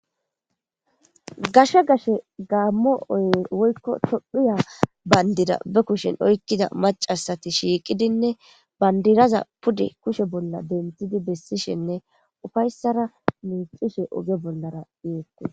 gashkhe gashe gaammo oy woykko tophiya bayndida be kushen oykkida macasati shiiqidinne bandiraza pudi kushe bolla denthidi bessishenne ufayssara miixishe oge bollara iiqu